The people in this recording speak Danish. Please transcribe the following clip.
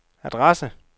adresse